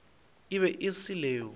e be e se leo